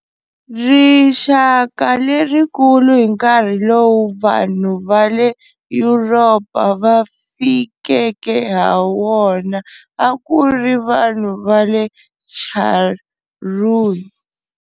Rixaka lerikulu hi nkarhi lowu vanhu va le Yuropa va fikeke ha wona a ku ri vanhu va le Charrúa.